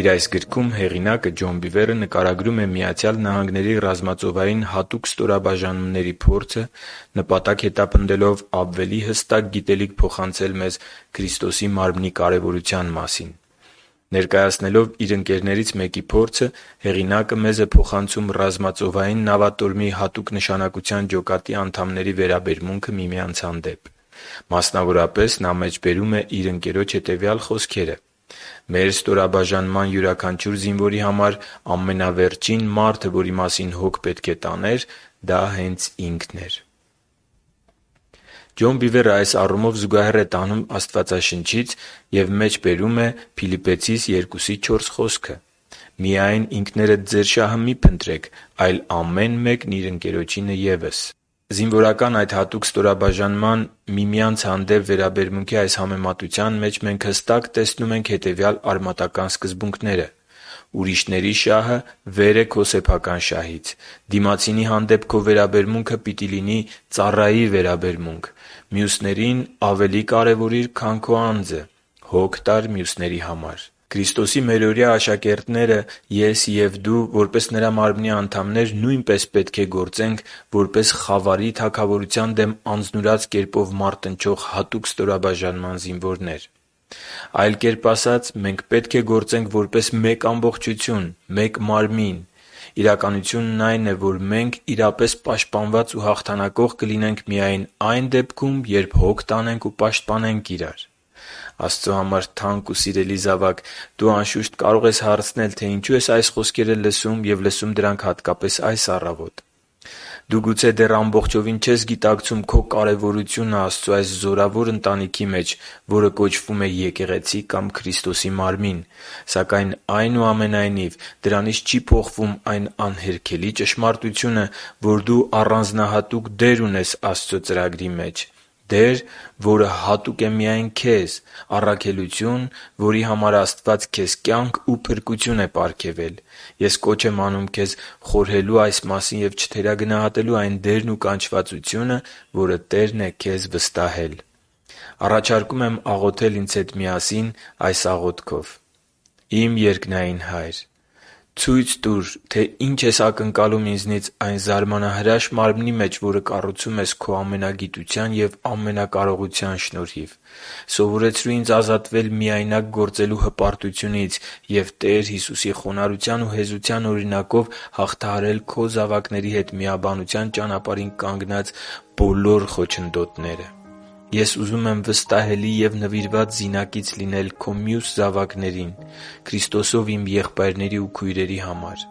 Իր այս գրքում հեղինակը՝ Ջոն Բիվերը, նկարագրում է Միացյալ Նահանգների ռազմածովային հատուկ ստորաբաժանումների փորձը՝ նպատակ հետապնդելով ավելի հստակ գիտելիք փոխանցել մեզ՝ Քրիստոսի Մարմնի կարևորության մասին։ Ներկայացնելով իր ընկերներից մեկի փորձը՝ հեղինակը մեզ է փոխանցում ռազմածովային նավատորմի հատուկ նշանակության ջոկատի անդամների վերաբերմունքը միմյանց հանդեպ։ Մասնավորապես, նա մեջբերում է իր ընկերոջ հետևյալ խոսքերը․ «Մեր ստորաբաժանման յուրաքանչյուր զինվորի համար ամենավերջին մարդը, որի մասին ինքը հոգ պետք է տաներ, դա հենց ինքն էր»։ Ջոն Բիվերը այս առումով զուգահեռ է տանում Աստվածաշնչից և մեջբերում է Փիլիպպեցիս 2․4 խոսքը. «Միայն ինքներդ ձեր շահերը մի՛ փնտրեք, այլ ամեն մեկն իր ընկերոջինը ևս» Զինվորական նշված հատուկ ստորաբաժանման մեջ միմյանց հանդեպ վերաբերմունքի այս համեմատության մեջ մենք հստակ տեսնում ենք հետևյալ արմատական սկզբունքները. - Ուրիշների շահը վեր է քո սեփական շահից, - Դիմացինի հանդեպ քո վերաբերմունքը պետք է լինի ծառայի վերաբերմունք, - Մյուսներին ավելի կարևորիր, քան քո անձը, - Հոգ տար մյուսների համար։ Քրիստոսի մերօրյա աշակերտները՝ ես և դու, որպես Նրա Մարմնի անդամներ, նույնպես պետք է գործեն՝ որպես խավարի թագավորության դեմ անձնուրաց կերպով մարտնչող հատուկ ստորաբաժանման զինվորներ։ Այլ կերպ ասած, մենք պետք է գործենք որպես մեկ ամբողջություն՝ մեկ Մարմին։ Իրականությունն այն է, որ մենք իրապես պաշտպանված ու հաղթանակող կլինենք միայն այն դեպքում, երբ հոգ տանենք ու պաշտպանենք իրար։ Աստծո համար թանկ ու սիրելի՛ զավակ, դու, անշուշտ, կարող ես հարցնել, թե ինչո՞ւ ես այս խոսքերը լսում և լսում դրանք հատկապես այս առավոտ։ Դու գուցե դեռ ամբողջովին չես գիտակցում քո կարևորությունը Աստծո այս զորավոր ընտանիքի մեջ, որը կոչվում է Եկեղեցի կամ Քրիստոսի Մարմին։ Սակայն, այնուամենայնիվ, դրանից չի փոխվում այն անհերքելի ճշմարտությունը, որ դու առանձնահատուկ դեր ունես Աստծո ծրագրի մեջ։ Դեր, որը հատուկ է միայն քեզ։ Առաքելություն, որի համար Աստված քեզ կյանք ու փրկություն է պարգևել։ Ես քեզ կոչ եմ անում խորհել այս մասին և չթերագնահատել այն դերն ու կանչվածությունը, որը Տերն է քեզ վստահել։ Առաջարկում եմ աղոթել ինձ հետ միասին այս աղոթքով․ «Իմ երկնային Հա՛յր, ցույց տուր, թե ինչ ես ակնկալում ինձնից այն զարմանահրաշ Մարմնի մեջ, որը կառուցում ես Քո ամենագիտության և ամենակարողության շնորհիվ։ Սովորեցրո՛ւ ինձ ազատվել միայնակ գործելու հպարտությունից և Տեր Հիսուսի խոնարհության ու հեզության օրինակով հաղթահարել Քո զավակների հետ միաբանության ճանապարհին կանգնած բոլոր խոչընդոտները։ Ես ուզում եմ վստահելի և նվիրված զինակից լինել Քո մյուս զավակների՝ Քրիստոսով իմ եղբայրների ու քույրերի համար։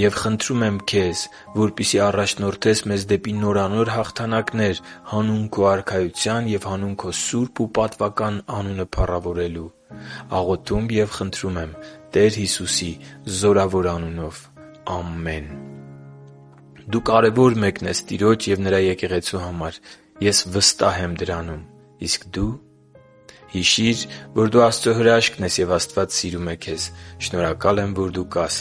Եվ խնդրում եմ Քեզ, որպեսզի առաջնորդես մեզ դեպի նորանոր հաղթանակներ հանուն Քո Արքայության և հանուն Քո սուրբ ու պատվական անունը փառավորելու։ Աղոթում և խնդրում եմ Տեր Հիսուսի զորավոր անունով։ Ամե՛ն»։ Դու կարևոր մեկն ես Տիրոջ և Նրա եկեղեցու համար։ Ես վստահ եմ դրանում։ Իսկ դու՞․․․ Հիշի՛ր, որ դու Աստծո հրաշքն ես, և Աստված սիրում է քեզ։ Շնորհակալ եմ, որ դու կա՛ս